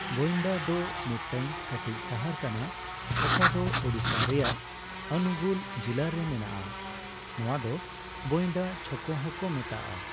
ᱵᱚᱤᱱᱰᱟ ᱫᱚ ᱢᱤᱫᱴᱟ.ᱝ ᱠᱟ.ᱴᱤᱡ ᱥᱟᱦᱟᱨ ᱠᱟᱱᱟ ᱚᱠᱟ ᱫᱚ ᱳᱰᱤᱥᱟ ᱨᱮᱟᱜ ᱟᱱᱩᱜᱩᱞ ᱡᱤᱞᱞᱟ. ᱨᱮ ᱢᱮᱱᱟᱜᱼᱟ ᱾ ᱱᱚᱣᱟ ᱫᱚ ᱵᱚᱤᱱᱰᱟ ᱪᱷᱚᱠᱚ ᱦᱚᱸ ᱠᱚ ᱢᱮᱛᱟᱜᱼᱟ ᱾